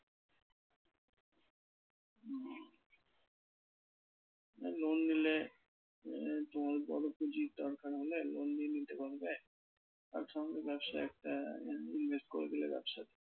না লোন নিলে আহ তোমার বড় পুঁজির দরকার হলে loan নিয়ে নিতে পারবে invest করে দিলে ব্যবসাতে।